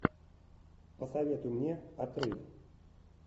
посоветуй мне отрыв